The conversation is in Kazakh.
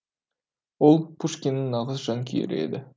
ол пушкиннің нағыз жанкүйері еді